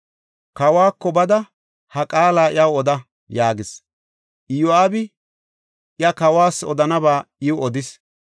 Kawako bada ha qaala iyaw oda” yaagis. Iyo7aabi iya kawas odanaba iw odis.